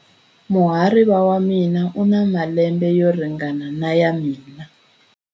Muhariva wa mina u na malembe yo ringana na ya mina.